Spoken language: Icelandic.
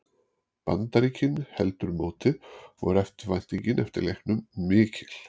Bandaríkin heldur mótið og er eftirvæntingin eftir leiknum mikil.